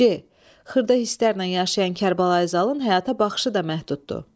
C. Xırda hisslərlə yaşayan Kərbəlayi Zalın həyata baxışı da məhduddur.